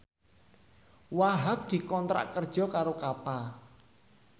Wahhab dikontrak kerja karo Kappa